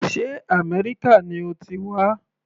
Sé Améríkà ni o ti wá.